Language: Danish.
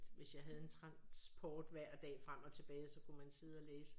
Hvis jeg havde en transport hver dag frem og tilbage så kunne man sidde og læse